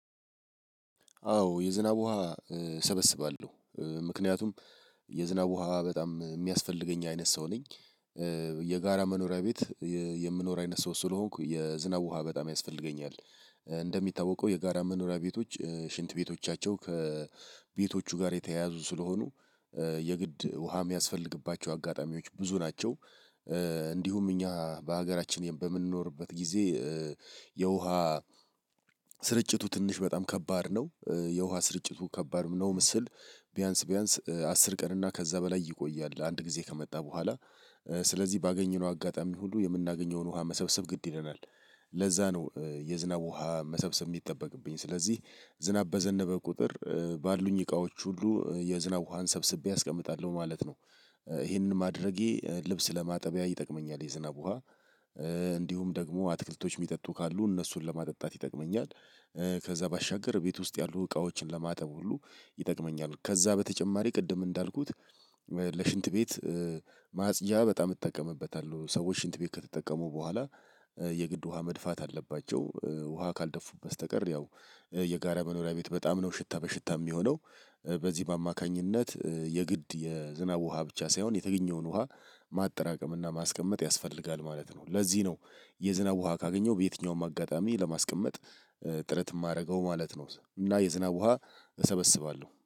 አዎ የዝናብ ውሃ እሰበስባለሁ ምክንያቱም የዝናብ ውሃ በጣም የሚያስፈልገኝ አይነት ሰው ነኝ የጋራ መኖሪያ ቤት የምኖር አይነት ሰው ስለሆንኩ የዝናብ ውሃ በጣም ያስፈልገኛል እንደሚታወቀው የጋራ መኖሪያ ቤቶች ሽንት ቤቶቻቸው ከቤቶቹ ጋር የተያያዙ ስለሆኑ የግድ ውሃ የሚያስፈልግባቸው አጋጣሚዎች ብዙ ናቸው እንዲሁም እኛ በሀገራችን በምንኖርበት ጊዜ የውሃ ስርጭቱ ትንሽ በጣም ከባድ ነው የውሃ ስርጭቱ ከባድ ነውም ስል ቢያንስ ቢያንስ አስር ቀን እና ከዛ በላይ ይቆያል አንድ ጊዜ ከመጣ በኋላ ስለዚህ ባገኘነው አጋጣሚ ሁሉ የምናገኘውን ውሃ መሰብሰብ ግድ ይለናል። ለዛ ነው የዝናብ ውሃ መሰብሰብ የሚጠበቅብኝ ስለዚህ ዝናብ በዘነበ ቁጥር ባሉኝ እቃዎች ሁሉ የዝናብ ውሃን ሰብስቤ አስቀምጣለሁ ማለት ነው ይሄንን ማድረጌ ልብስ ለማጠቢያ ይጠቅመኛል የዝናብ ውሃ እንዲሁም ደግሞ አትክልቶች የሚጠጡ ካሉ እነሱን ለማጠጣት ይጠቅመኛል ከዛ ባሻገር ቤት ውስጥ ያሉ እቃዎችን ለማጠብ ሁሉ ይጠቅመኛል ከዛ በተጨማሪ ቅድም እንዳልኩት ለሽንት ቤት ማጽጃ በጣም እጠቀምበታለሁ ሰዎች ሽንት ቤት ከተጠቀሙ በኋላ የግድ ውሃ መድፋት አለባቸው ውሃ ካልደፉበት በስተቀር ያው የጋራ መኖሪያ ቤት በጣም ነው ሽታ በሽታ የሚሆነው በዚህም አማካኝነት የግድ የዝናብ ውሃ ብቻ ሳይሆን የተገኘውን ውሃ ማጠራቀም እና ማስቀመጥ ያስፈልጋል ማለት ነው ለዚህ ነው የዝናብ ውሃ ካገኘው በየትኛውም አጋጣሚ ለማስቀመጥ ጥረት የማደርገው ማለት ነው እና የዝናብ ውሃ እሰበስባለሁ።